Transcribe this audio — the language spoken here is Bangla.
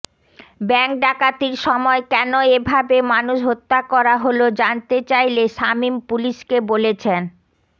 ব্যাংক ডাকাতির সময় কেন এভাবে মানুষ হত্যা করা হল জানতে চাইলে শামীম পুলিশকে বলেছেন